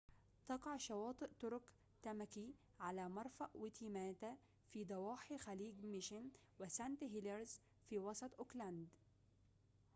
تقع شواطئ طرق تاماكي على مرفأ ويتيماتا في ضواحي خليج ميشن وسانت هيليرز في وسط أوكلاند